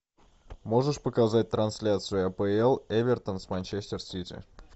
можешь показать трансляцию апл эвертон с манчестер сити